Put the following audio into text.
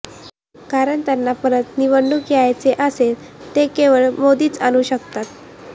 कारण त्यांना परत निवडून यायचे असेल ते केवळ मोदीच आणू शकतात